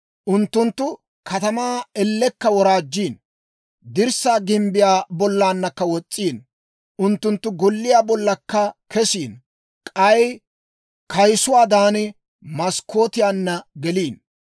Unttunttu katamaa ellekka woraajjiino; dirssaa gimbbiyaa bollankka wos's'iino. Unttunttu golliyaa bollakka kesiino; k'ay kayisuwaadan, maskkootiyaanna geliino.